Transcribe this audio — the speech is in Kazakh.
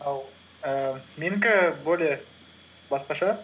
ал ііі менікі более басқаша